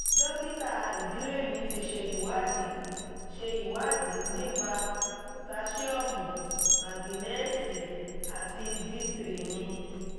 dókítà ìdílé mi ti ṣe ìwádìí ṣe ìwádìí nípa potasiọ́mù mágíńésììì àti d three mi